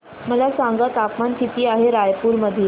मला सांगा तापमान किती आहे रायपूर मध्ये